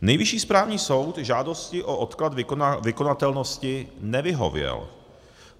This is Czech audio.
Nejvyšší správní soud žádosti o odklad vykonatelnosti nevyhověl.